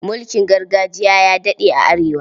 Mulkin gargajiya ya daɗe a Arewa.